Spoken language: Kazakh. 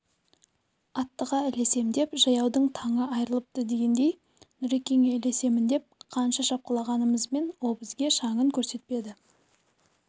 аттыға ілесем деп жаяудың таңы айырылыпты дегендей нұрекеңе ілесемін деп қанша шапқылағанымызбен ол бізге шаңын көрсетпеді